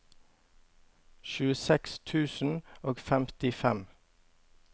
tjueseks tusen og femtifem